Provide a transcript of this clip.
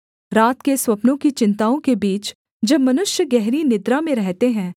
रात के स्वप्नों की चिन्ताओं के बीच जब मनुष्य गहरी निद्रा में रहते हैं